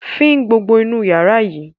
Fín gbogbo inú yàrá yìí!